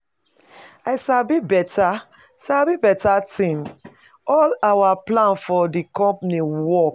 I sabi beta sabi beta thing. All our plan for the company work.